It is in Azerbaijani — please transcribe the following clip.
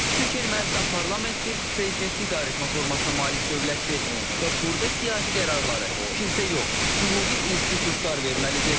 Çünki Ermənistan parlamentli, prezidentli idarəetmə formasına malik dövlətdir və burda siyasi qərarları kilsə yox, hüquqi institutlar verməlidir.